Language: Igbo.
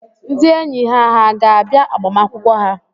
Ndị enyi ha hà ga-abịa agbamakwụkwọ ha?